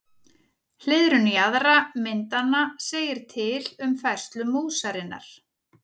Hliðrun jaðra myndanna segir til um færslu músarinnar.